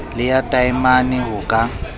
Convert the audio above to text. le ya taemane ho ka